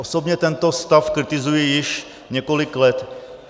Osobně tento stav kritizuji již několik let.